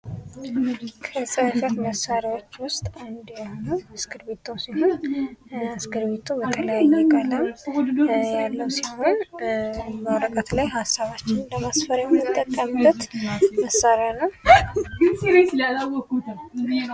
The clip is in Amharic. ከጽህፈት መሳሪያዎች ውስጥ አንዱ የሆነው እስክርቢቶ ሲሆን እስክርቢቶ በተለያየ ቀለም የምናገኘው ሲሆን ሀሳባችንን በወረቀት ላይ ለማስፈር የምንጠቀምበት መሳሪያ ነው።